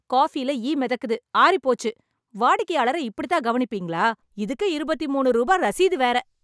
காஃபில ஈ மெதக்குது, ஆறிப் போச்சு. வாடிக்கையாளர இப்படித் தான் கவனிப்பீங்களா? இதுக்கு இருபத்தி மூனு ரூபா ரசீது வேற.